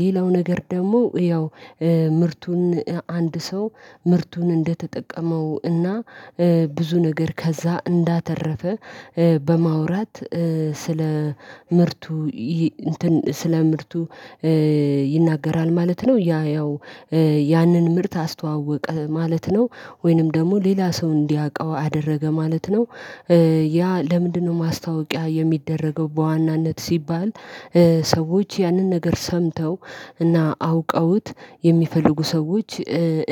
ሌላው ነገር ደግሞ ያው ምርቱን አንድ ሰው ምርቱን እንደተጠቀመው እና ብዙ ነገር ከዛ እንዳተረፈ በማውራት ስለ ምርቱ ይናገራል ማለት ነው። ያ ያው ያንን ምርት አስተዋወቀ ማለት ነው። ወይንም ደግሞ ሌላ ሰው እንዲያውቀው አደረገ ማለት ነው። ያ ለምንድነው ማስታወቂያ የሚደረገው በዋናነት ሲባል ሰዎች ያንን ነገር ሰምተው እና አውቀውት የሚፈልጉ ሰዎች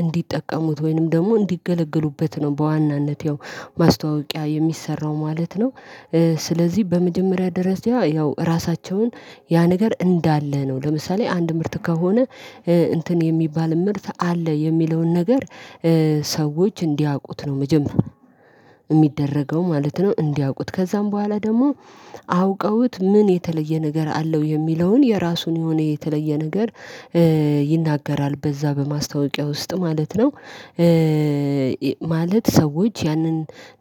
እንዲጠቀሙት ወይንም ደግሞ እንዲገለገሉበት ነው በዋናነት ያው ማስታወቂያ የሚሰራው ማለት ነው። ስለዚህ በመጀመሪያ ደርጃ ያው ራሳቸውን ያ ነገር እንዳለ ነው ለምሳሌ አንድ ምርት ከሆነ እንትን የሚባል ምርት አለ የሚለውን ነገር ሰዎች እንዲያውቁት ነው መጀመሪያ የሚደረገው ማለት ነው። እንዲያውቁት ከዛም በኋላ ደግሞ አውቀውት ምን የተለየ ነገር አለው የሚለውን የራሱን የሆነ የተለየ ነገር ይናገራል በዛ በማስታወቂያ ውስጥ ማለት ነው። ማለት ሰዎች ያንን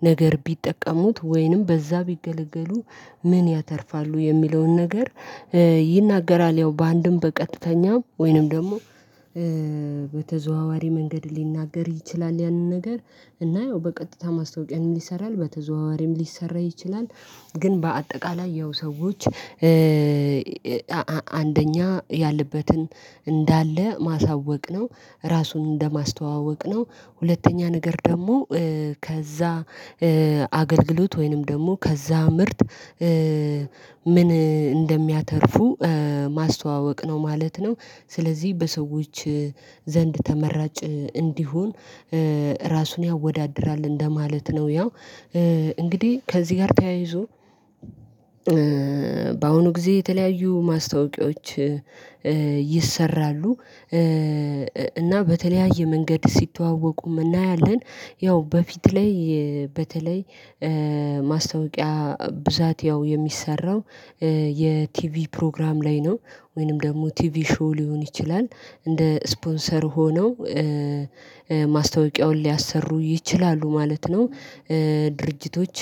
ነገር ቢጠቀሙት ወይንም በዛ ቢገለገሉ ምን ያተርፋሉ የሚለውን ነገር ይናገራል ያው በአንድም በቀጥተኛም ወይንም ደግሞ በተዘዋዋሪ መንገድ ሊናገር ይችላል። ያንን ነገር እና ያው በቀጥታ ማስታወቂያም ይሰራል በተዘዋዋሪም ሊሰራ ይችላል። ግን በአጠቃላይ ያው ሰዎች አንደኛ ያለበትን እንዳለ ማሳወቅ ነው። ራሱን እንደማስተዋወቅ ነው። ሁለተኛ ነገር ደግሞ ከዛ አገልግሎት ወይንም ደግሞ ከዛ ምርት ምን እንደሚያተርፉ ማስተዋወቅ ነው ማለት ነው። ስለዚህ በሰዎች ዘንድ ተመራጭ እንዲሆን ራሱን ያወዳድራል እንደማለት ነው። ያው እንግዲህ ከዚህ ጋር ተያይዞ በአሁኑ ጊዜ የተለያዩ ማስታወቂያዎች ይሰራሉ። እና በተለያየ መንገድ ሲተዋወቁም እናያለን። ያው በፊት ላይ በተለይ ማስታወቂያ ብዛት ያው የሚሰራው የቲቪ ፕሮግራም ላይ ነው። ወይንም ደግሞ ቲቪ ሾው ሊሆን ይችላል እንደ ስፖንሰር ሆነው ማስታወቂያውን ሊያሰሩ ይችላሉ ማለት ነው። ድርጅቶች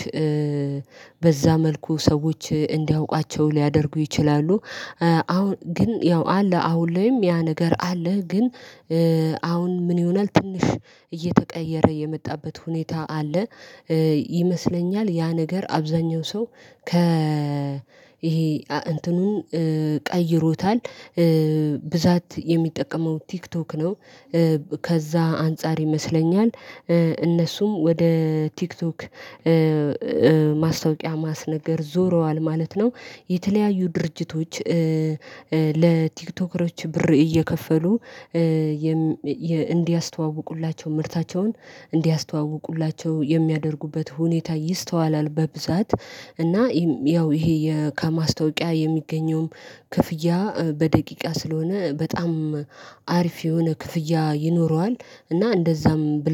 በዛ መልኩ ሰዎች እንዲያውቋቸው ሊያደርጉ ይችላሉ። አሁን ግን ያው አለ አሁን ላይም ያ ነገር አለ ግን አሁን ምን ይሆናል ትንሽ እየተቀየረ የመጣበት ሁኔታ አለ። ይመስለኛል ያ ነገር አብዛኛው ሰው ይሄ እንትኑን ቀይሮታል ብዛት የሚጠቀመው ቲክቶክ ነው። ከዛ አንፃር ይመስለኛል እነሱም ወደ ቲክቶክ ማስታወቂያ ማስነገር ዞረዋል ማለት ነው። የተለያዩ ድርጅቶች። ለቲክቶከሮች ብር እየከፈሉ እንዲያስተዋውቁላቸው ምርታቸውን እንዲያስተዋውቁላቸው የሚያደርጉበት ሁኔታ ይስተዋላል። በብዛት እና ያው ይሄ ከማስታወቂያ የሚገኘውም ክፍያ በደቂቃ ስለሆነ በጣም አሪፍ የሆነ ክፍያ ይኖረዋል። እና እንደዛም